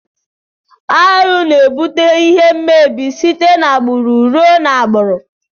Arụ na ebute ihe mmebi site na agburu rụọ na agburu.